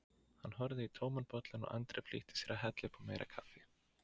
Hann horfði í tóman bollann og Andri flýtti sér að hella upp á meira kaffi.